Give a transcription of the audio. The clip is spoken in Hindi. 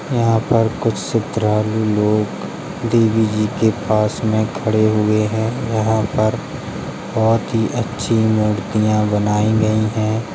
यहाँ पर कुछ सद्धरालू लोग देवी जी के पास में खड़े हुएँ हैं। यहाँ पर बहोत ही अच्छी मूर्तियां बनाईं गईं हैं।